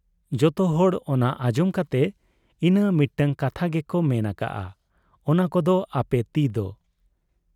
ᱡᱚᱛᱚᱦᱚᱲ ᱚᱱᱟ ᱟᱸᱡᱚᱢ ᱠᱟᱛᱮ ᱤᱱᱟᱹ ᱢᱤᱫᱴᱟᱹᱝ ᱠᱟᱛᱷᱟ ᱜᱮᱠᱚ ᱢᱮᱱ ᱟᱠᱟᱜ ᱟ ᱚᱱᱟ ᱠᱟᱫ ᱟ ᱯᱮ ᱛᱤᱫᱚ ᱾